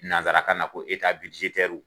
Nansara kanna ko